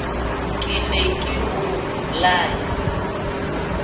ke ne ke o laya